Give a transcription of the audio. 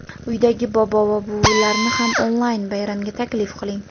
Uydagi bobo va buvilarni ham onlayn bayramga taklif qiling.